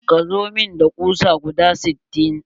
Ka zo mun da kusa guda sittin.